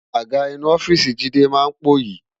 Àgá inú òfìsí Jide má n póyi